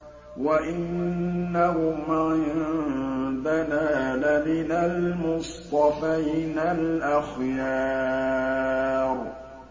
وَإِنَّهُمْ عِندَنَا لَمِنَ الْمُصْطَفَيْنَ الْأَخْيَارِ